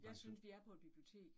Jeg synes vi er på et bibliotek